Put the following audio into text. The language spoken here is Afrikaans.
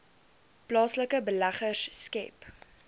plaaslike beleggers skep